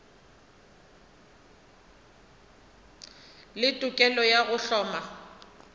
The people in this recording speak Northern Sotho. le tokelo ya go hloma